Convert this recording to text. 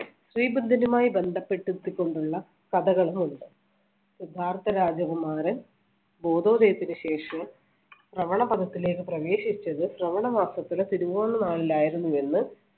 ശ്രീബുദ്ധനുമായി ബന്ധപ്പെട്ട്~ത്തികൊണ്ടുള്ള കഥകളുമുണ്ട്. സിദ്ധാർത്ഥ രാജകുമാരൻ ബോധോദയത്തിന് ശേഷവും ശ്രവണ പദത്തിലേക്ക് പ്രവേശിച്ചത് ശ്രവണ മാസത്തിലെ തിരുവോണനാളിൽ ആയിരുന്നു എന്ന്